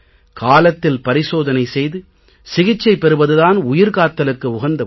காலத்தில் பரிசோதனை செய்து சிகிச்சை பெறுவது தான் உயிர் காத்தலுக்கு உகந்த ஒன்று